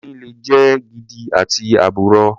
Oyin le jẹ́ gidi àti àbùrọ.